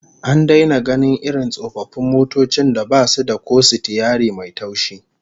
An daina gainin irin tsofaffin motocin da basu da ko sitiyari mai taushi